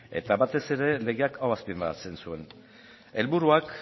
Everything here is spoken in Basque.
eta batez ere legeak hau azpimarratzen zuen helburuak